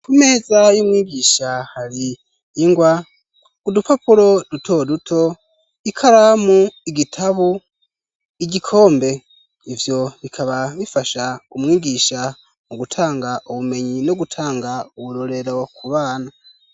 Ku meza y'umwigisha hari ingwa ku dupapuro duto duto, ikaramu ,igitabo ,igikombe ivyo bikaba bifasha umwigisha mu gutanga ubumenyi no gutanga uburorero ku bana.